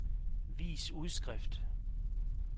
vis udskrift